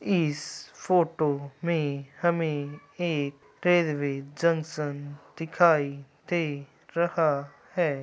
इस फोटो में हमें एक जंक्शन दिखाई दे रहा है।